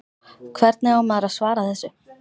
Hvernig á maður að svara þessu?